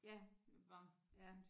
Ja ja